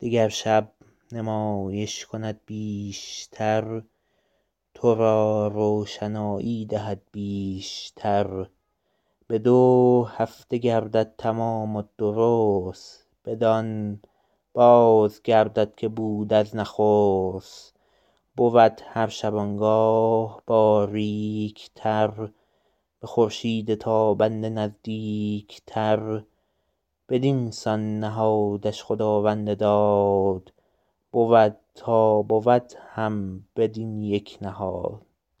دگر شب نمایش کند بیش تر تو را روشنایی دهد بیش تر به دو هفته گردد تمام و درست بدان باز گردد که بود از نخست بود هر شبانگاه باریک تر به خورشید تابنده نزدیک تر بدینسان نهادش خداوند داد بود تا بود هم بدین یک نهاد